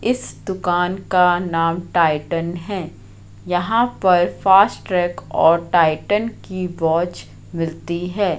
इस दुकान का नाम टाइटन है। यहां पर फास्ट्रेक और टाइटन की वॉच मिलती है।